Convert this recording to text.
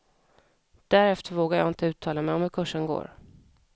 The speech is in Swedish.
Därefter vågar jag inte uttala mig om hur kursen går.